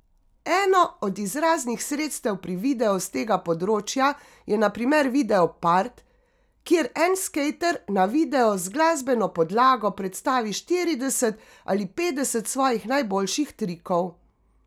Eno od izraznih sredstev pri videu s tega področja je na primer video part, kjer en skejter na videu z glasbeno podlago predstavi štirideset ali petdeset svojih najboljših trikov.